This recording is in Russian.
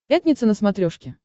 пятница на смотрешке